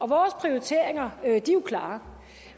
vores prioriteringer er jo klare